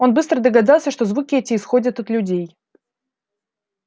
он быстро догадался что звуки эти исходят от людей